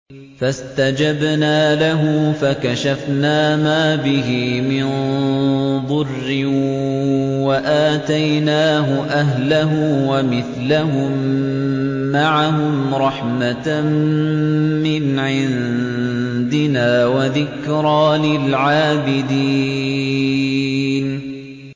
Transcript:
فَاسْتَجَبْنَا لَهُ فَكَشَفْنَا مَا بِهِ مِن ضُرٍّ ۖ وَآتَيْنَاهُ أَهْلَهُ وَمِثْلَهُم مَّعَهُمْ رَحْمَةً مِّنْ عِندِنَا وَذِكْرَىٰ لِلْعَابِدِينَ